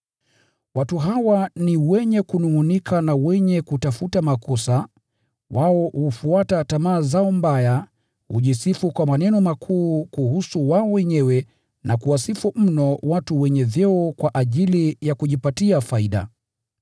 Watu hawa ni wenye kunungʼunika na wenye kutafuta makosa; wao hufuata tamaa zao mbaya, hujisifu kwa maneno makuu kuhusu wao wenyewe na kuwasifu mno watu wenye vyeo kwa ajili ya kujipatia faida.